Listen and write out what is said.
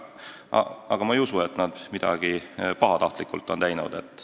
Aga ma ei usu, et nad midagi pahatahtlikult on teinud.